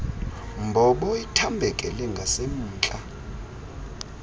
mbobo ithambekele ngasemntla